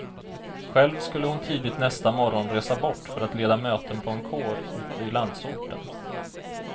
Själv skulle hon tidigt nästa morgon resa bort för att leda möten på en kår ute i landsorten.